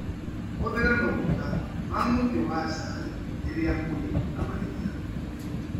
Hũthĩra maguta ma mũtĩ wa chai rĩrĩa ũrĩ na mahĩtia.